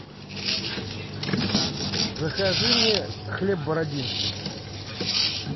закажи мне хлеб бородинский